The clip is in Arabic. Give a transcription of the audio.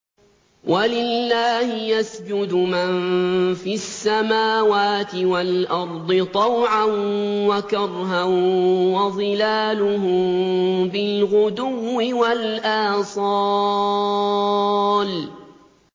وَلِلَّهِ يَسْجُدُ مَن فِي السَّمَاوَاتِ وَالْأَرْضِ طَوْعًا وَكَرْهًا وَظِلَالُهُم بِالْغُدُوِّ وَالْآصَالِ ۩